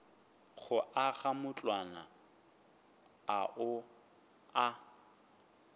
go aga matlwana ao a